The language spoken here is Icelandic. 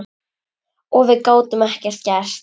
Og við gátum ekkert gert.